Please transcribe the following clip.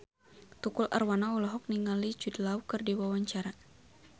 Tukul Arwana olohok ningali Jude Law keur diwawancara